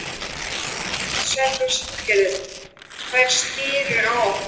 SÉRA SIGURÐUR: Þeir sneru á okkur.